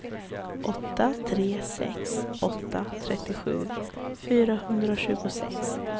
åtta tre sex åtta trettiosju fyrahundratjugosex